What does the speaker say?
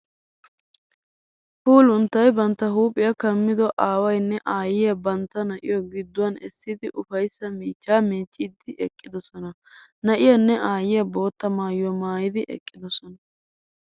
Puulunttay bantta huuphiya kammido aawaynne aayyiya bantta na'iyo gidduwan essidi ufayssa miichchaa miicciiddi eqqidosona. Na'iyanne aayyiya boottaa maayuwa maayid eqqidosona.